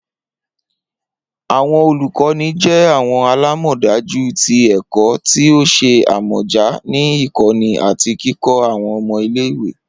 Awọn olukọni jẹ awọn alamọdaju ti ẹkọ ti o ṣe amọja ni ikọni ati kikọ awọn ọmọ ile-iwe